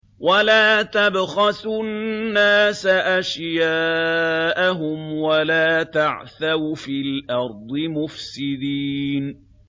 وَلَا تَبْخَسُوا النَّاسَ أَشْيَاءَهُمْ وَلَا تَعْثَوْا فِي الْأَرْضِ مُفْسِدِينَ